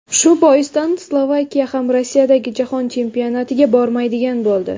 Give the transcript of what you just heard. Shu boisdan, Slovakiya ham Rossiyadagi Jahon Chempionatiga bormaydigan bo‘ldi.